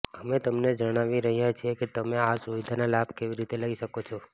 અમે તમને જણાવી રહ્યા છીએ કે તમે આ સુવિધાનો લાભ કેવી રીતે લઈ શકો છો